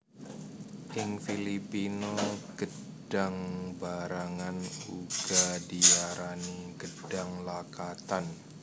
Ing Filipina gêdhang barangan uga diarani gêdhang lakatan